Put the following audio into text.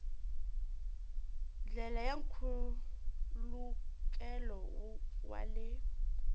ndlela ya nkhulukelano wa le